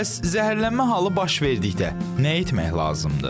Bəs zəhərlənmə halı baş verdikdə nə etmək lazımdır?